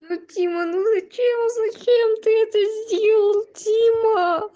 ну дима ну зачем зачем ты это сделал дима